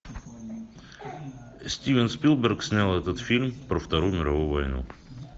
стивен спилберг снял этот фильм про вторую мировую войну